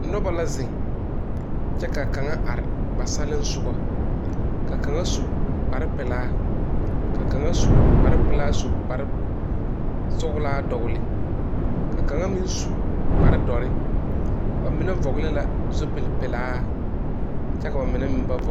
Noba la zeŋ kyɛ ka kaŋa are ba salensoga ka kaŋa su kparpelaa ka kaŋa su kparpelaa su kparsɔglaa dɔgle ka kaŋa meŋ su kpardɔre ba mine vɔgle la zupilipelaa kyɛ ka ba mine meŋ ba vɔgle.